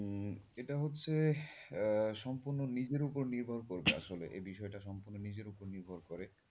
উম এটা হচ্ছে আহ সম্পূর্ণ নিজের উপর নির্ভর করবে আসলে এ বিষয়টা সম্পূর্ণ নিজের উপর নির্ভর করে।